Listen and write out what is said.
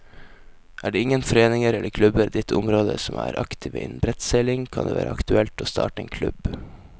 Er det ingen foreninger eller klubber i ditt område som er aktive innen brettseiling, kan det være aktuelt å starte en klubb.